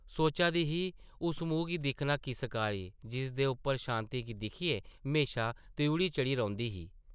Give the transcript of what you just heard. सोचा दी ही, उस मुहां गी दिक्खना किस कारी, जिसदे उप्पर शांति गी दिक्खियै म्हेशां त्रिउढ़ी चढ़ी रौंह्दी ही ।